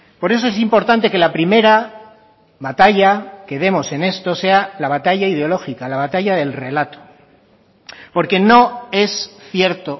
por eso es importante que la primera batalla que demos en esto sea la batalla ideológica la batalla del relato porque no es cierto